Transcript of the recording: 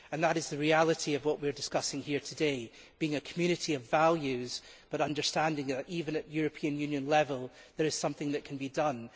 That is the reality of what we are discussing here today being a Community of values but understanding that, even at European Union level, there is something that can be done.